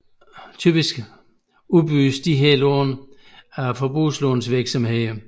Typisk udbydes disse lån af forbrugslånsvirksomheder